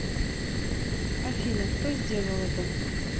афина кто сделал это